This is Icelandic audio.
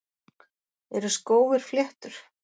Eru skófir fléttur?